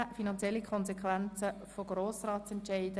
Finanzielle Konsequenzen von Grossratsentscheiden: